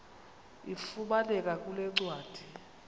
ifumaneka kule ncwadi